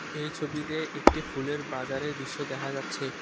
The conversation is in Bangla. এই ছবিতে একটি ফুলের বাজারের দৃশ্য দেখা যাচ্ছে।